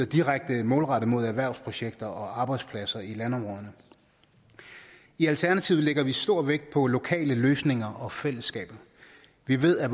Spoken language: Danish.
direkte er målrettet erhvervsprojekter og arbejdspladser i landområderne i alternativet lægger vi stor vægt på lokale løsninger og fællesskaber vi ved at